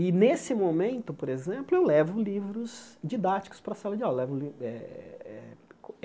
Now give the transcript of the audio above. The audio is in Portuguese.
E, nesse momento, por exemplo, eu levo livros didáticos para a sala de aula. Levo li eh eh